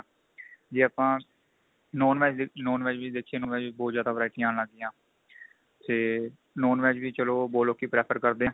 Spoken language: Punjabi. ਜੇ ਆਪਾਂ non VEG ਦੇਖ non VEG ਵੀ ਦੇਖੀਏ ਉਹਨਾ ਚ ਵੀ ਬਹੁਤ ਜਿਆਦਾ ਵੇਰਾਈਟੀਆ ਆਣ ਲੱਗ ਗਈਆਂ ਤੇ non VEG ਵੀ ਚਲੋ ਬਹੁਤ ਲੋਕੀ prefer ਕਰਦੇ ਏ